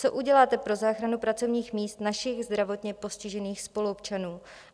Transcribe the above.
Co uděláte pro záchranu pracovních míst našich zdravotně postižených spoluobčanů?